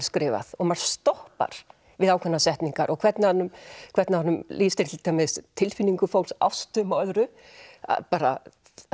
skrifað og maður stoppar við ákveðnar setningar og hvernig hann hvernig hann lýsir til dæmis tilfinningum fólks ástum og öðru bara